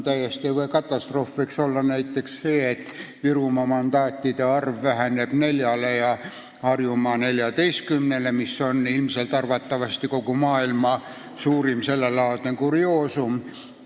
Katastroof võiks olla näiteks see, et Virumaa mandaatide arv väheneb neljani ja Harjumaa oma neljateistkümneni, mis oleks arvatavasti kogu maailma suurim sellelaadne kurioosum.